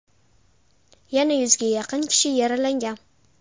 Yana yuzga yaqin kishi yaralangan.